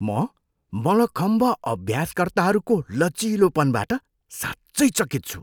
म मलखम्ब अभ्यासकर्ताहरूको लचिलोपनबाट साँच्चै चकित छु!